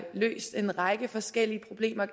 løst en række forskellige problemer